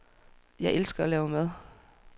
Jeg elsker at lave mad.